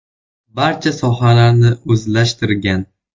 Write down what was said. Barcha sohalarni o‘zlashtirgan.